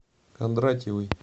кондратьевой